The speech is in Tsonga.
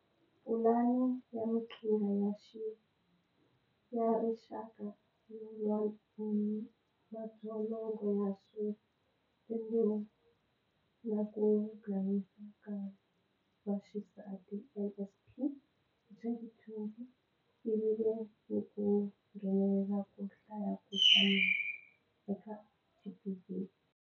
Pulani ya Maqhingha ya Rixaka yo lwa ni madzolonga ya swa rimbewu na ku dlayiwa ka vaxisati, NSP, hi 2020, ku vile ni ku nghenelela ko hlaya ku hlamula eka GBV.